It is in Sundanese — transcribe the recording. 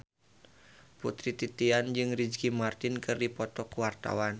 Putri Titian jeung Ricky Martin keur dipoto ku wartawan